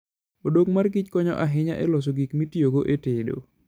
odok kich konyo ahinya e loso gik mitiyogo e tedo.